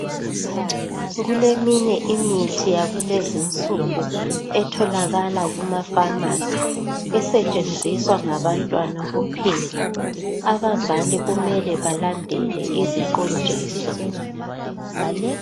Kuleminye imithi yakulezinsuku etholakala kuma"pharmacy" esetshenziswa ngabantwana kuphela. Abazali kumele balandele iziqondiso.